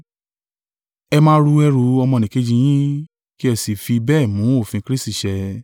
Ẹ máa ru ẹrù ọmọnìkejì yín, kí ẹ sì fi bẹ́ẹ̀ mú òfin Kristi ṣẹ.